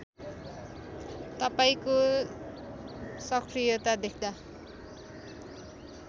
तपाईँको सकृयता देख्दा